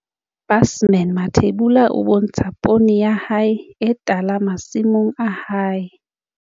Caption- Busman Mathebula o bontsha poone ya hae e tala masimong a hae.